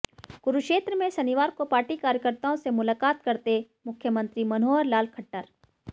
कुरुक्षेत्र में शनिवार को पार्टी कार्यकर्ताओं से मुलाकात करते मुख्यमंत्री मनोहर लाल खट्टर